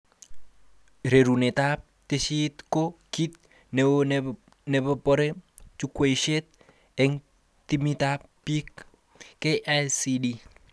Rarunetab tesisyit ko kit neo nebare jukwaishek eng timitab bik KICD